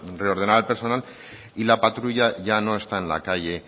reordenar el personal y la patrulla ya no está en la calle